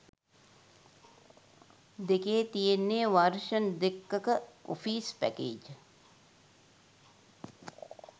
දෙකේ තියෙන්නෙ වර්ෂන් දෙකක ඔෆීස් පැකේජ්.